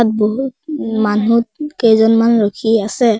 বহু মানুহ কেইজনমান ৰখি আছে।